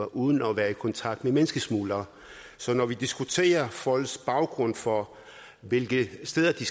uden at være i kontakt med menneskesmuglere så når vi diskuterer folks baggrund for hvilke steder de